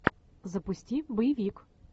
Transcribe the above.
запусти боевик